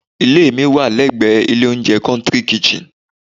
Ilé mi wà lẹ́gbẹ̀ ilé oúnjẹ "country kitchen"